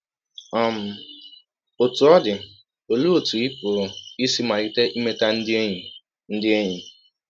um Ọtụ ọ dị, ọlee ọtụ ị pụrụ isi malite imeta ndị enyi ndị enyi?